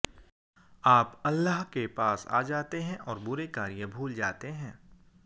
आप अल्लाह के पास आ जाते हैं और बुरे कार्य भूल जाते हैं